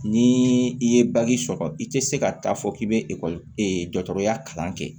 Ni i ye sɔrɔ i tɛ se ka taa fɔ k'i bɛ ekɔli e dɔgɔtɔrɔya kalan kɛ